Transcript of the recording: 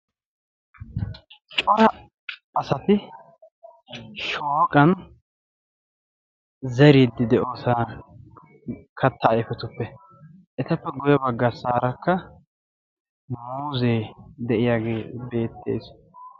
Cora asati shooqan zeriiddi de'osonaa kattaa ayifetuppe etappe guyye baggassaarakka muuzze de'iyage beettes